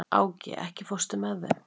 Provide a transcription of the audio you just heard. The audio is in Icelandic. Áki, ekki fórstu með þeim?